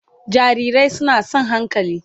Jarirai suna son hankali